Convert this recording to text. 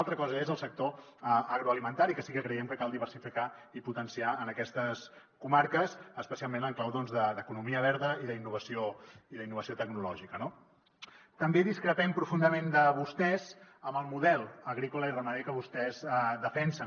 altra cosa és el sector agroalimentari que sí que creiem que cal diversificar i potenciar en aquestes comarques especialment en clau doncs d’economia verda i d’innovació tecnològica no també discrepem profundament de vostès en el model agrícola i ramader que vostès defensen